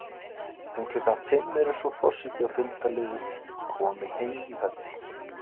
Um klukkan fimm eru svo forseti og fylgdarlið komin heim í höll.